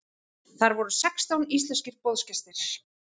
Þar voru sextán íslenskir boðsgestir.